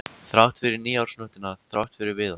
Þrátt fyrir nýársnóttina, þrátt fyrir Viðar.